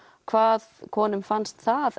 hvað konum fannst það